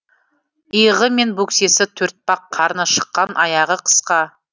иығы мен бөксесі төртпақ қарны шыққан аяғы қысқа